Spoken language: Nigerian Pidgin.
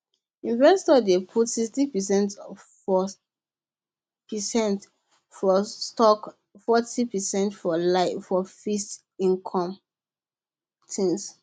investors dey put sixty percent for percent for stocks fourty percent for fixed income things